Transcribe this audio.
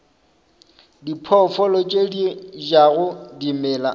diphoofolo tše di jago dimela